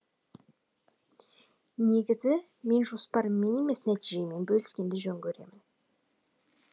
негізі мен жоспарыммен емес нәтижеммен бөліскенді жөн көремін